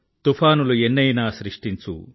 తుఫానులు ఎన్నైనా సృష్టించు